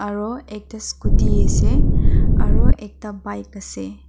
aro ekta scooty ase aro ekta bike ase.